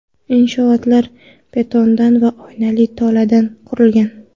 Inshootlar betondan va oynali toladan qurilgan.